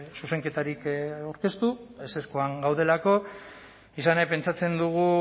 zuzenketarik aurkeztu ezezkoan gaudelako izan ere pentsatzen dugu